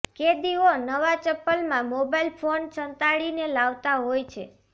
કેદીઓ નવા ચંપલમાં મોબાઇલ ફોન સંતાડીને લાવતા હોય છે